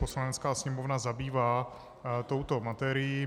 Poslanecká sněmovna zabývá touto materií.